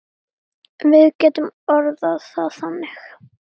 Við getum orðað það þannig.